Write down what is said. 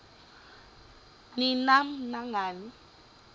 ni nam nangani